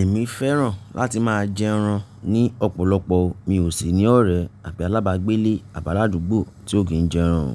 Èmi fẹ́ràn láti máa jẹ ẹran ní ọ̀pọ̀lọpọ̀. Mi ò sì ní ọ̀rẹ́ àbí alábàágbé ilé àbáládùgbò tí ó kì í jẹ ẹran.